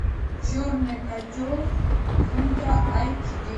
черный котел ультра айч ди